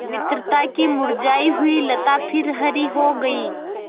मित्रता की मुरझायी हुई लता फिर हरी हो गयी